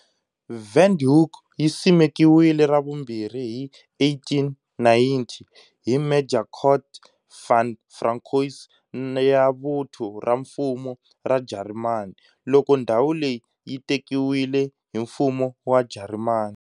Windhoek yi simekiwile ra vumbirhi hi 1890 hi Major Curt von François ya Vuthu ra Mfumo ra Jarimani, loko ndhawu leyi yi tekiwile hi Mfumo wa Jarimani.